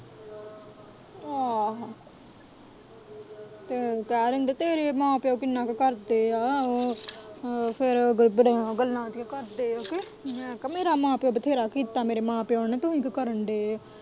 ਆਹ ਕਹਿ ਰਹੇ ਸੀ ਤੇਰੇ ਮਾਂ-ਪਿਓ ਕਿੰਨ੍ਹਾਂ ਕ ਕਰਦੇ ਆ ਫੇਰ ਉੱਧਰ ਗੱਲਾਂ ਕਿਉਂ ਕਰਦੇ ਏ ਤੇ ਫੇਰ ਮੈਂ ਕਿਹਾ ਮੇਰੇ ਮਾਂ-ਪਿਓ ਬਥੇਰਾ ਕੀਤਾ ਮੇਰੇ ਮਾਂ-ਪਿਓ ਨੇ ਹੁਣ ਵੀ ਕਰਨ ਦਏ ਏ।